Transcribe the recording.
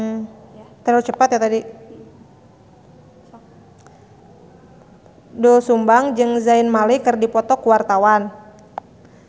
Doel Sumbang jeung Zayn Malik keur dipoto ku wartawan